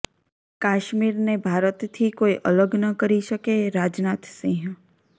કાશ્મીરને ભારતથી કોઈ અલગ ન કરી શકેઃ રાજનાથ સિંહ